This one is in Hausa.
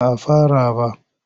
Ba a fara ba.